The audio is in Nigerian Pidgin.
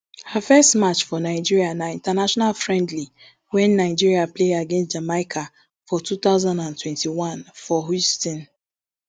her first match for nigeria na international friendly wen nigeria play against jamaica for two thousand and twenty-onefor houston